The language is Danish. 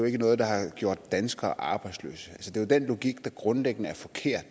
ikke noget der har gjort danskere arbejdsløse det er den logik der grundlæggende er forkert